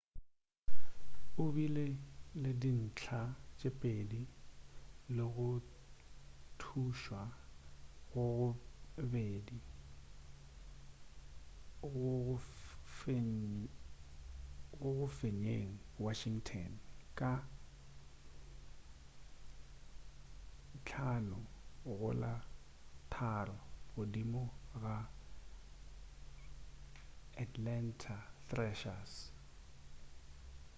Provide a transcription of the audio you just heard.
o bile le dintlha tše pedi le go thušwa go go 2 go go fenyeng washington ka 5-3 godimo ga atlanta thrashers